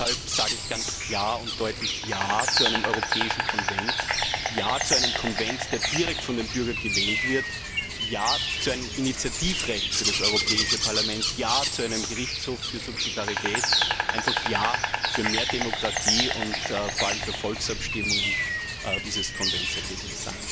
Deshalb sage ich ganz klar und deutlich Ja zu einem europäischen Konvent, Ja zu einem Konvent, der direkt von den Bürgern gewählt wird, Ja zu einem Initiativrecht für das Europäische Parlament, Ja zu einem Gerichtshof für Subsidiarität, einfach Ja zu mehr Demokratie und vor allem zu Volksabstimmungen für dieses Konventsergebnis.